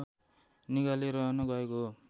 निगाले रहन गएको हो